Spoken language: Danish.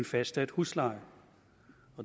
fastsat husleje